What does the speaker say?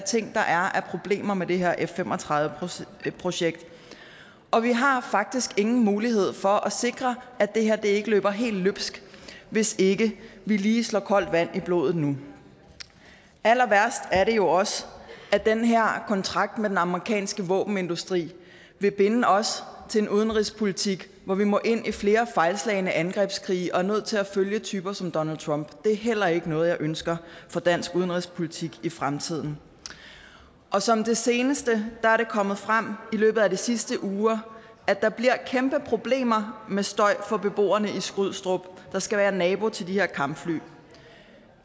problemer med det her f fem og tredive projekt og vi har faktisk ingen mulighed for at sikre at det her ikke løber helt løbsk hvis ikke vi lige slår koldt vand i blodet nu allerværst er det jo også at den her kontrakt med den amerikanske våbenindustri vil binde os til en udenrigspolitik hvor vi må ind i flere fejlslagne angrebskrige og er nødt til at følge typer som donald trump det er heller ikke noget jeg ønsker for dansk udenrigspolitik i fremtiden som det seneste er det kommet frem i løbet af de sidste uger at der bliver kæmpe problemer med støj for beboerne i skrydstrup der skal være nabo til de her kampfly